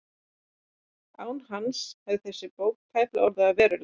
Án hans hefði þessi bók tæplega orðið að veruleika.